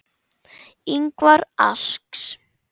Ingvar asks.